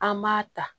An m'a ta